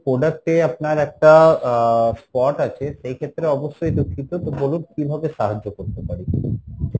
product এ আপনার একটা আহ spot আছে সেই ক্ষেত্রে অবশ্যই দুঃখিত তো বলুন কীভাবে সাহায্য করতে পারি?